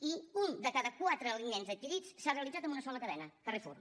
i un de cada quatre aliments adquirits s’ha realitzat en una sola cadena carrefour